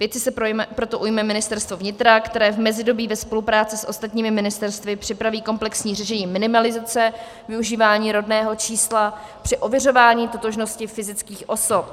Věci se proto ujme Ministerstvo vnitra, které v mezidobí ve spolupráci s ostatními ministerstvy připraví komplexní řešení minimalizace využívání rodného čísla při ověřování totožnosti fyzických osob.